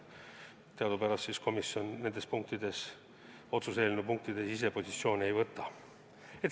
Teadupärast komisjon nende otsuse eelnõu punktide osas ise positsiooni ei võta.